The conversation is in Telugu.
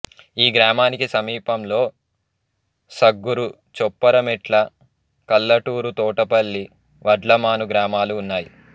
ఈ గ్రామానికి సమీపంలో సగ్గురు చొప్పరమెట్ల కలటూరు తోటపల్లి వడ్లమాను గ్రామాలు ఉన్నాయి